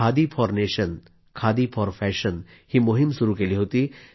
khadi for nation Khadi for fashion मोहीम सुरू केली होती